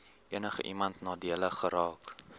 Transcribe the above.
enigiemand nadelig geraak